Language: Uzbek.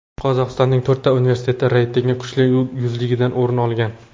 Qozog‘istonning to‘rtta universiteti reyting kuchli yuzligidan o‘rin olgan.